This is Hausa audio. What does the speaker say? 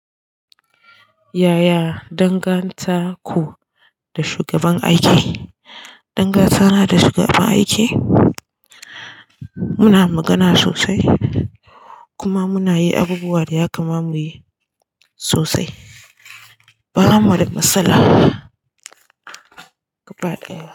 Yaya dangantaku da shugaban aiki? Dangantana da shugaban aiki muna magana sosai, kuma muna yi abubuwan ya kama muyi sosai ba mu wada matsala.